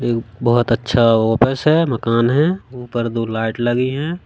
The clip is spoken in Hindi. एक बहोत अच्छा ऑफिस है मकान है ऊपर दो लाइट लगी है।